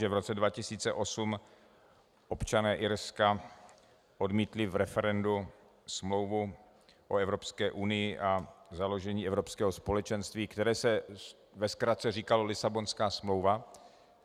Že v roce 2008 občané Irska odmítli v referendu Smlouvu o Evropské unii a založení Evropského společenství, které se ve zkratce říkalo Lisabonská smlouva.